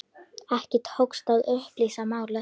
Ekki tókst að upplýsa málið.